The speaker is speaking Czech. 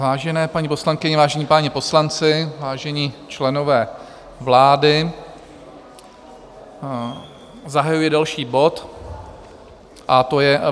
Vážené paní poslankyně, vážení páni poslanci, vážení členové vlády, zahajuji další bod, a to je